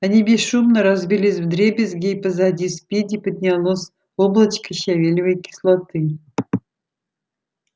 они бесшумно разбились вдребезги и позади спиди поднялось облачко щавелевой кислоты